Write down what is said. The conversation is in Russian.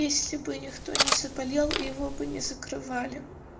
если бы никто не заболел его бы не закрывали